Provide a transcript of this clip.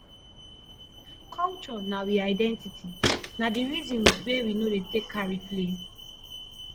culture na we identity na di resin wey we no dey take carry play